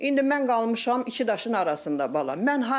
İndi mən qalmışam iki daşın arasındayam bala.